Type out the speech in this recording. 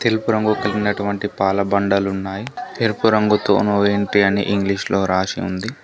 తెలుపు రంగు కలిగినటువంటి పాల బండలు ఉన్నాయి ఎరుపు రంగుతో నో ఎంట్రీ అని ఇంగ్లీషులో రాసి ఉంది.